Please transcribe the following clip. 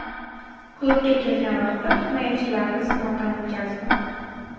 Klubga kelgan vaqtim himoyachilarni sinovdan o‘tkazdim.